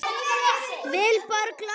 Vilborg Lofts.